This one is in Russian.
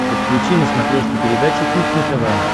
подключи на смотрешке передачу кухня тв